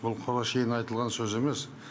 бұл құр әншейін айтылған сөз емес